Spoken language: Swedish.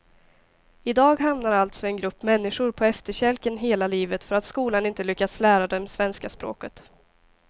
I dag hamnar alltså en grupp människor på efterkälken hela livet för att skolan inte lyckats lära dem svenska språket.